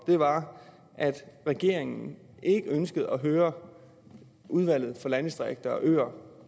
var at regeringen ikke ønskede at høre udvalget for landdistrikter og øer